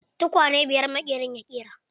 Tukwane biyar maƙerin ya ƙera.